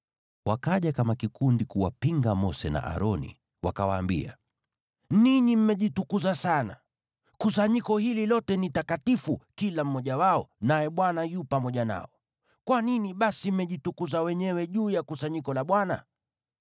Wakaja kama kikundi kuwapinga Mose na Aroni, wakawaambia, “Ninyi mmejitukuza sana! Kusanyiko hili lote ni takatifu, kila mmoja wao, naye Bwana yu pamoja nao. Kwa nini basi mmejitukuza wenyewe juu ya kusanyiko la Bwana ?”